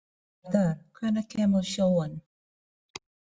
Garðar, hvenær kemur sjöan?